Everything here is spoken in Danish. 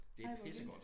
Ej hvor vildt